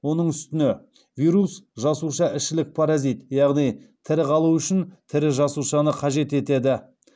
оның үстіне вирус жасушаішілік паразит яғни тірі қалу үшін тірі жасушаны қажет етеді